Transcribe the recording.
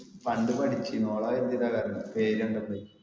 പണ്ട് പഠിച്ചിന് ഓളാവെച്ചിട്ടാ കണ്ടേ പേര് കണ്ടപ്പേ